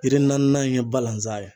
Yiri naani in ye balazan ye.